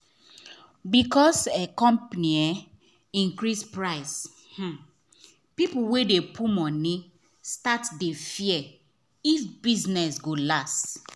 because um company um increase price um pipo we dey put money start dey fear if business go last.